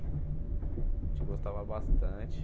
A gente gostava bastante.